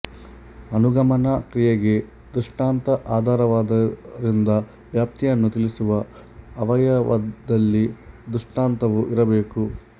ಅನುಗಮನ ಕ್ರಿಯೆಗೆ ದೃಷ್ಟಾಂತ ಆಧಾರವಾದ್ದರಿಂದ ವ್ಯಾಪ್ತಿಯನ್ನು ತಿಳಿಸುವ ಅವಯವದಲ್ಲಿ ದೃಷ್ಟಾಂತವೂ ಇರಬೇಕು